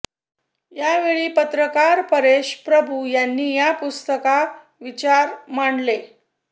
यावेळी पत्रकार परेश प्रभू यांनी या पुस्तकार विचार मांडले